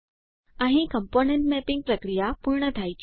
અહીં component mapping પ્રક્રિયા પૂર્ણ થાય છે